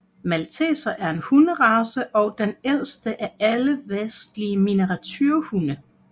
Malteser er en hunderace og den ældste af alle vestlige miniaturehunde